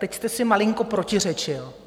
Teď jste si malinko protiřečil.